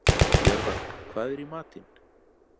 Jörvar, hvað er í matinn?